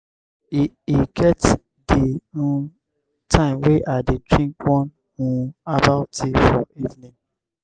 e e get di um time wey i dey drink one um herbal tea for evening.